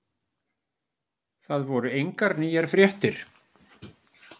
Það voru engar nýjar fréttir.